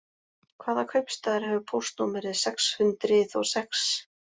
Hvaða kaupstaður hefur póstnúmerið sex hundrið og sex?